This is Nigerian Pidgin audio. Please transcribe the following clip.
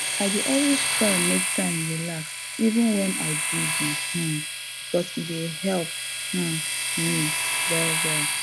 i dey always try make time relax even wen i busy um because e dey help um me well well